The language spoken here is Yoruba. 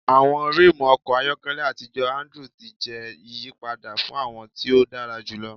Awọn rimu ọkọ ayọkẹlẹ atijọ Andrew ti jẹ iyipada fun awọn ti o dara julọ